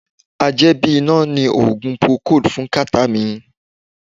A jẹ́ bí iná ni Oogun procold fún kàtá mi.